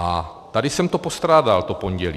A tady jsem to postrádal to pondělí.